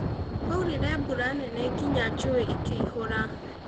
Kwaurire mbura nene nginya njũũĩ ikĩihũra